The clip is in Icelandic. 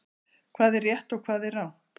Hvað er rétt og hvað er rangt?